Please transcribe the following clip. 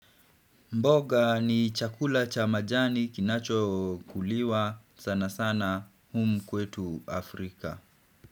Mboga ni chakula cha majani kinacho kuliwa sana sana humu kwetu Afrika.